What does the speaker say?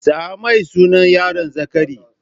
Sa mai sunan yaron Zakari.